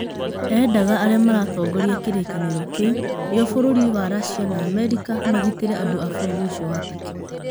Endaga arĩa maatongoragia kĩrĩkanĩro kĩu, nĩo bũrũri wa Racia na Amerika, magitire andũ a bũrũri ũcio wa Turkey.